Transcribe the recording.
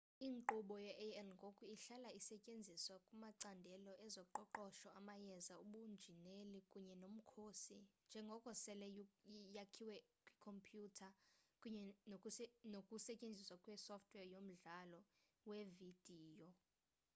inkqubo ye-ai ngoku ihlala isetyenziswa kumacandelo ezoqoqosho amayeza ubunjineli kunye nomkhosi njengoko sele yakhiwe kwikhompyuter kunye nokusetyenziswa kwesoftware yomdlalo wevidiyo